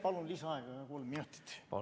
Palun lisaaega kolm minutit!